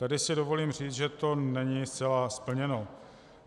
Tady si dovolím říct, že to není zcela splněno.